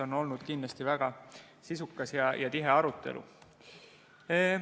On olnud kindlasti väga sisukas ja tihe arutelu.